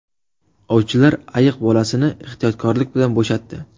Ovchilar ayiq bolasini ehtiyotkorlik bilan bo‘shatdi.